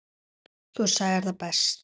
Þú sagðir það best.